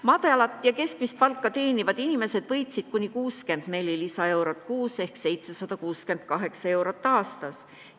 Madalat ja keskmist palka teenivad inimesed võitsid kuni 64 lisaeurot kuus ehk 768 eurot aastas.